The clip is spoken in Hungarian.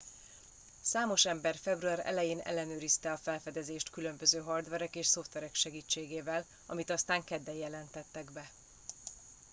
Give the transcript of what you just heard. számos ember február elején ellenőrizte a felfedezést különböző hardverek és szoftverek segítségével amit aztán kedden jelentettek be